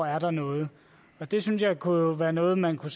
er noget og det synes jeg jo kunne være noget man kunne